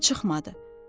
Səsim çıxmadı.